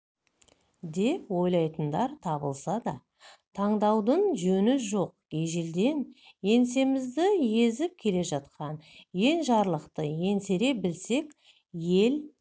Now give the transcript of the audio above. деп ойлайтындар табылса да таңданудың жөні жоқ ежелден еңсемізді езіп келе жатқан енжарлықты еңсере білсек ел